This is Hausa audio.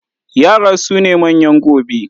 Yara su ne manyan gobe.